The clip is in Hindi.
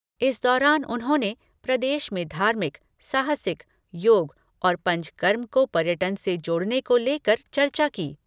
इस दौरान उन्होंने प्रदेश में धार्मिक, साहसिक, योग और पंचकर्म को पर्यटन से जोड़ने को लेकर चर्चा की।